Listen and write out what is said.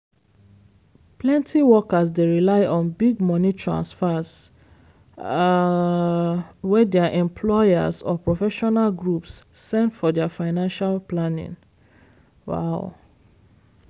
plenty workers dey rely on big money transfers um wey their employers or professional groups send for their financial planning. um